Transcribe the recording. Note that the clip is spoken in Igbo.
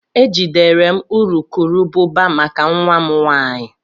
E jidere m urukurubụba maka nwa m nwanyị.